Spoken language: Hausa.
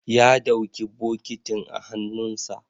ya ɗauki bokitin a hannunsa